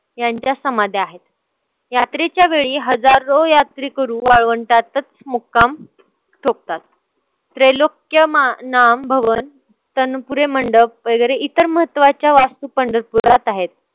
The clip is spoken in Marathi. यांच्या समाध्या आहेत. यात्रेच्या वेळी हजारो यात्रेकरू वाळवंटातच मुक्काम ठोकतात. त्रैलोक्यमानाभवन तणपुरे मंडप वगैरे इतर महत्वाच्या वास्तू पंढरपुरात आहेत.